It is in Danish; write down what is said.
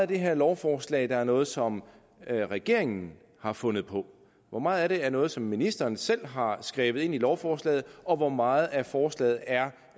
det her lovforslag er noget som regeringen har fundet på hvor meget af det er noget som ministeren selv har skrevet ind i lovforslaget og hvor meget af forslaget er